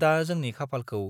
दा जोंनि खाफालखौ